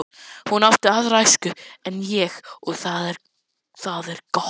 Hún átti aðra æsku en ég og það er gott.